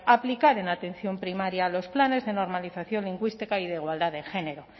aplicar en la atención primaria los planes de normalización lingüística y de igualdad de género